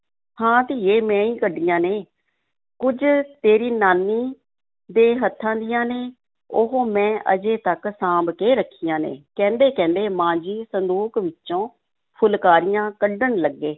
ਹਾਂ ਧੀਏ, ਮੈਂ ਹੀ ਕੱਢੀਆਂ ਨੇ, ਕੁੱਝ ਤੇਰੀ ਨਾਨੀ ਦੇ ਹੱਥਾਂ ਦੀਆਂ ਨੇ, ਉਹ ਮੈਂ ਅਜੇ ਤੱਕ ਸਾਂਭ ਕੇ ਰੱਖੀਆਂ ਨੇ, ਕਹਿੰਦੇ-ਕਹਿੰਦੇ ਮਾਂ ਜੀ ਸੰਦੂਕ ਵਿੱਚੋਂ ਫੁਲਕਾਰੀਆਂ ਕੱਢਣ ਲੱਗੇ।